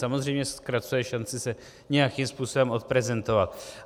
Samozřejmě zkracuje šanci se nějakým způsobem odprezentovat.